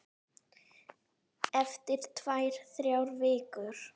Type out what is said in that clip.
Eftir tvær, þrjár vikur.